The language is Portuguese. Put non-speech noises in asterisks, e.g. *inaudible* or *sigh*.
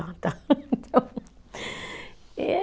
Ah, tá. *laughs*